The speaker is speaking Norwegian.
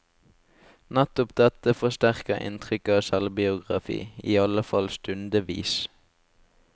Nettopp dette forsterker inntrykket av selvbiografi, iallfall stundevis.